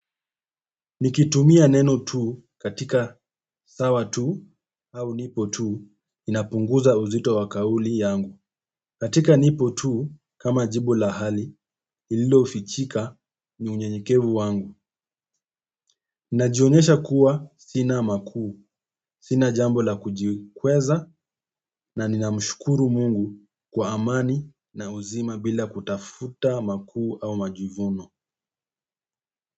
Nikitumia neno tuu katika sawa tuu au nipo tuu inapunguza uzito wa kauli yangu. Katika nipo tuu kama jibu la hali lililo fichika ni unyenyekevu wangu. Najionyesha kuwa sina makuu, sina jambo la kujikweza na nina mshukuru Mungu kwa amani na uzima bila kutafuta makuu au majivuno.